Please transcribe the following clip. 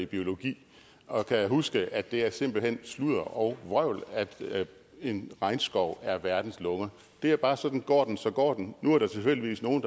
i biologi og kan huske at det simpelt hen er sludder og vrøvl at en regnskov er verdens lunger det er bare sådan går den så går den nu er der tilfældigvis nogle